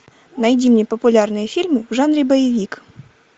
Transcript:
найди мне популярные фильмы в жанре боевик